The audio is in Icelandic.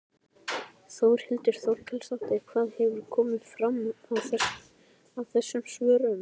Þórhildur Þorkelsdóttir: Hvað hefur komið fram við þessum svörum?